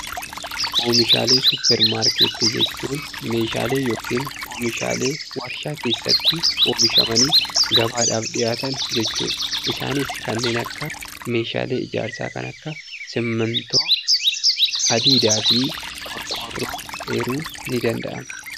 Oomishaalee suuppar maarkeettii jechuun oomishaalee yookaan meeshaalee warshaa keessatti oomishamanii gabaadhaaf dhiyaatan jechuudha. Isaanis kanneen akka meeshaalee ijaarsaa kanneen akkka simmiintoo, hadiidaafi qorqorroo eeruun nidanda'ama.